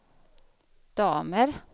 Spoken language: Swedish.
damer